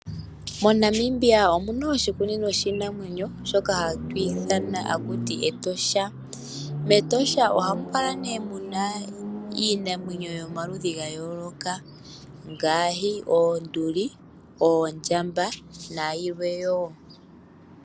MoNamibia omuna oshikunino shiinamwenyo shoka hatu ithana haku ti Etosha. Metosha ohamu adhikwa kala nee muna iinamwenyo yomaludhi ga yooloka ngaashi oonduli, oondjamba nayilwe wo.